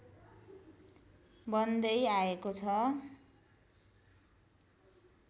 बन्दै आएको छ